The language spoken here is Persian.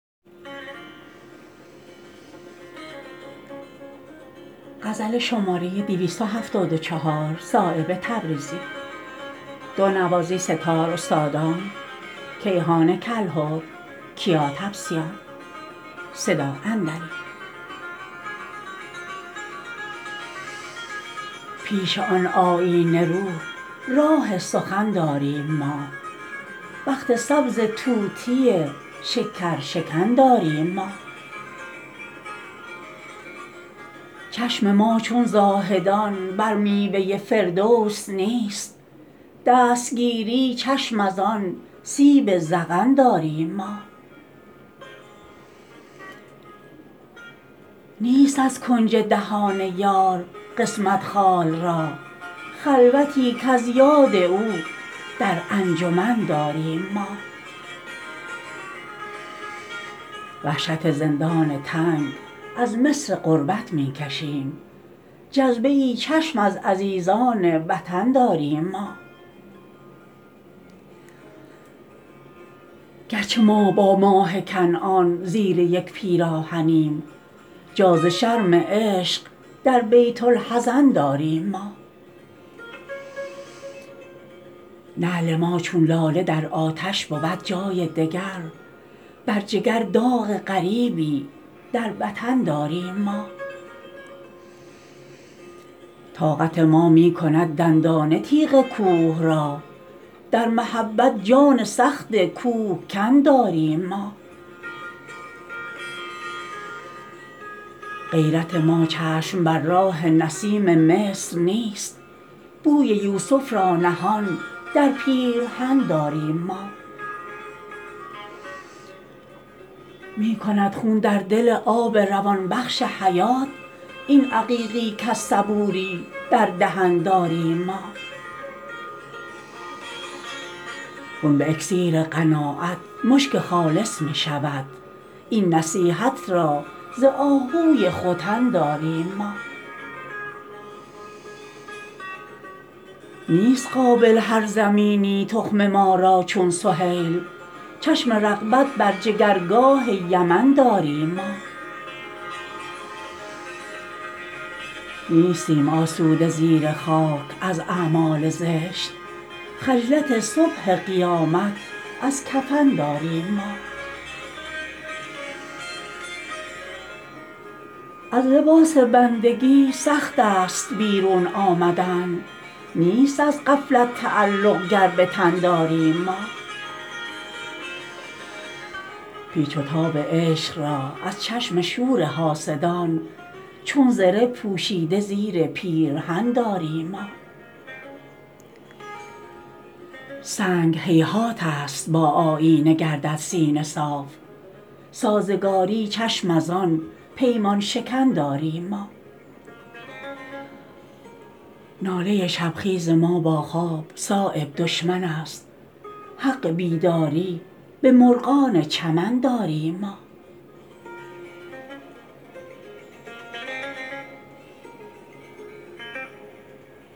پیش آن آیینه رو راه سخن داریم ما بخت سبز طوطی شکرشکن داریم ما چشم ما چون زاهدان بر میوه فردوس نیست دستگیری چشم ازان سیب ذقن داریم ما نیست از کنج دهان یار قسمت خال را خلوتی کز یاد او در انجمن داریم ما وحشت زندان تنگ از مصر غربت می کشیم جذبه ای چشم از عزیزان وطن داریم ما گرچه ما با ماه کنعان زیر یک پیراهنیم جا ز شرم عشق در بیت الحزن داریم ما نعل ما چون لاله در آتش بود جای دگر بر جگر داغ غریبی در وطن داریم ما طاقت ما می کند دندانه تیغ کوه را در محبت جان سخت کوهکن داریم ما غیرت ما چشم بر راه نسیم مصر نیست بوی یوسف را نهان در پیرهن داریم ما می کند خون در دل آب روان بخش حیات این عقیقی کز صبوری در دهن داریم ما خون به اکسیر قناعت مشک خالص می شود این نصیحت را ز آهوی ختن داریم ما نیست قابل هر زمینی تخم ما را چون سهیل چشم رغبت بر جگرگاه یمن داریم ما نیستیم آسوده زیر خاک از اعمال زشت خجلت صبح قیامت از کفن داریم ما از لباس بندگی سخت است بیرون آمدن نیست از غفلت تعلق گر به تن داریم ما پیچ و تاب عشق را از چشم شور حاسدان چون زره پوشیده زیر پیرهن داریم ما سنگ هیهات است با آیینه گردد سینه صاف سازگاری چشم ازان پیمان شکن داریم ما ناله شبخیز ما با خواب صایب دشمن است حق بیداری به مرغان چمن داریم ما